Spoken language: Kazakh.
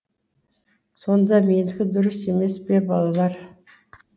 сонда менікі дұрыс емес пе балалар